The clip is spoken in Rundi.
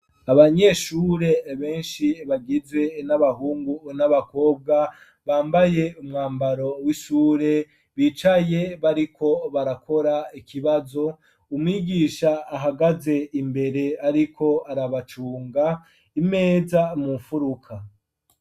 Abanyeshure beshi bagizwe n'abahungu n'abakobwa bambaye umwambaro w'ishure bicaye bariko barakora ikibazo umwigisha ahagaze imbere ariko arabacunga imeza mu nfuruka.